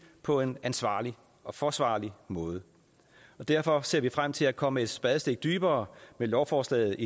på en ansvarlig og forsvarlig måde derfor ser vi frem til at komme et spadestik dybere med lovforslaget